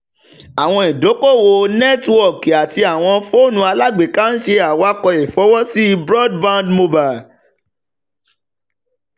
awọn idoko-owo nẹtiwọọki ati awọn foonu alagbeka n ṣe awakọ ifọwọsi broadband mobile